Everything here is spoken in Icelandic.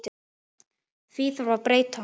Því þarf að breyta!